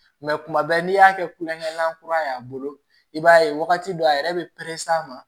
Mɛ kuma bɛɛ n'i y'a kɛ kulonkɛlan kura ye a bolo i b'a ye wagati dɔ a yɛrɛ bɛ perese a ma